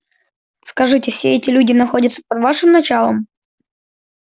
скажите все эти люди находятся под вашим началом